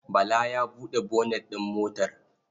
Bala ya buɗe bonet ɗin motar.